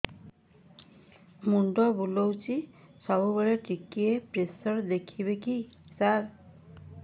ମୁଣ୍ଡ ବୁଲୁଚି ସବୁବେଳେ ଟିକେ ପ୍ରେସର ଦେଖିବେ କି ସାର